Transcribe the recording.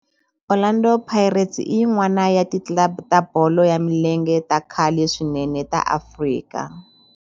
Orlando Pirates i yin'wana ya ti club ta bolo ya milenge ta khale swinene ta Afrika.